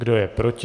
Kdo je proti?